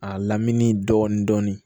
A lamini dɔɔnin